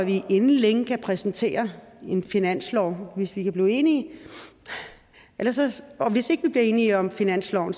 vi inden længe kan præsentere en finanslov hvis vi kan blive enige og hvis ikke vi bliver enige om finansloven